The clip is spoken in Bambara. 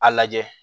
A lajɛ